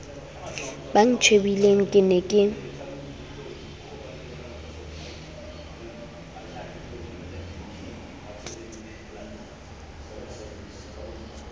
ba ntjhebileng ke ne ke